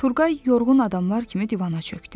Turğay yorğun adamlar kimi divana çöktü.